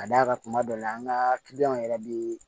Ka d'a kan kuma dɔ la an ka kiliyanw yɛrɛ bɛ